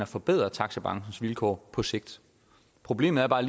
forbedre taxabranchens vilkår på sigt problemet er bare